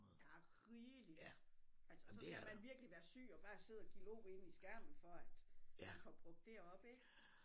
Der er rigeligt altså så skal man virkelig være syg og bare sidde og glo ind i skærmen for at man får brugt det op ik